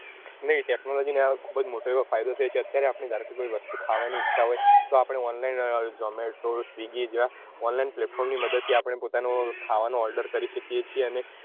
નહી technology ખુબ જ એવો મોટો ફાયદો છે અત્યારે કોઈ વસ્તુ ની ખાવાની ઈચ્છા હોય તો આપડે online zomato swiggy જેવા online platform ની મદદ થી આપડે પોતાનો ખાવાનો order કરી શકીએ છીએ અને